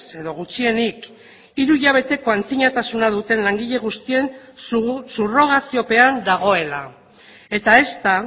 edo gutxienik hiru hilabeteko antzinatasun duten langile guztien subrogaziopean dagoela eta ezta